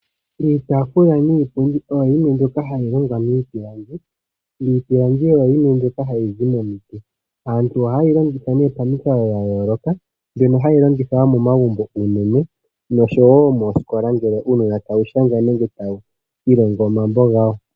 Iitaafula niipundi oyo yimwe mbyoka hayi longwa miipilangi. Iipilangi oyo yimwe mbyoka ha yi zi momiti. Aantu oha ye yi longitha nee pamikalo dha yooloka mbyono hayi longithwa momagumbo unene nosho wo mooskola ngele uunona tawu shanga nenge ta wu ilongo mambo gawo.